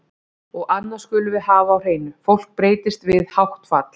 Og annað skulum við hafa á hreinu, fólk breytist við hátt fall.